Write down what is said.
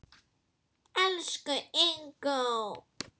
Elsku Ingó.